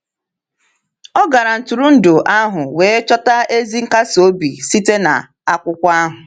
O gara ntụrụndụ ahụ wee chọta ezi nkasi obi site n’akwụkwọ ahụ.